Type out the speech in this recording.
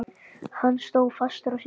Hann stóð fastur á sínu.